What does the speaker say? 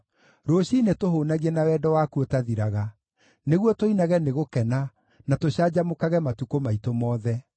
Rũciinĩ tũhũũnagie na wendo waku ũtathiraga, nĩguo tũinage nĩ gũkena na tũcanjamũkage matukũ maitũ mothe.